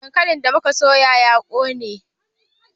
Dankalin da mu ka soya ya ƙone